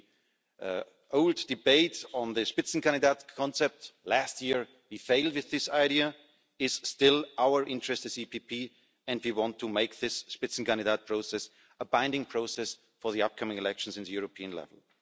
So the old debates on the Spitzenkandidat concept, last year we failed with this idea, it is still our interest as the PPE and we want to make this Spitzenkandidat process a binding process for the upcoming elections on the European level.